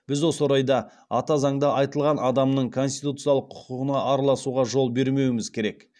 біз осы орайда ата заңда айтылған адамның конституциялық құқына араласуға жол бермеуіміз керек